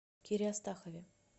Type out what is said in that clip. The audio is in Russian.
кире астахове